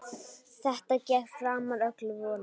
Þetta gekk framar öllum vonum.